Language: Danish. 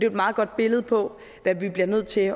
et meget godt billede på hvad vi bliver nødt til